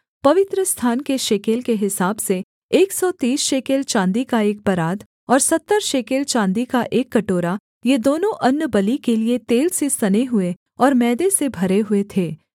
अर्थात् पवित्रस्थान के शेकेल के हिसाब से एक सौ तीस शेकेल चाँदी का एक परात और सत्तर शेकेल चाँदी का एक कटोरा ये दोनों अन्नबलि के लिये तेल से सने हुए और मैदे से भरे हुए थे